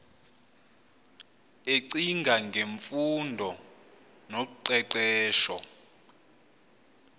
ecinga ngemfundo noqeqesho